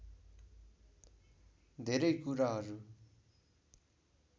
धेरै कुराहरु